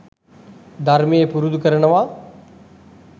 ධර්මය පුරුදු කරනවා.